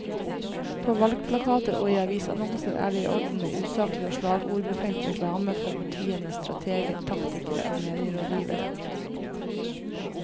På valgplakater og i avisannonser er det i orden med usaklig og slagordbefengt reklame fra partienes strateger, taktikere og medierådgivere.